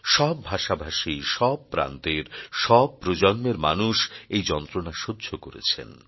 সব ভাষা ভাষী সব প্রান্তের সব প্রজন্মের মানুষ এই যন্ত্রণা সহ্য করেছেন